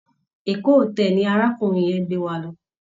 Eko hotel ni arákùnrin yẹn gbé wa lọ.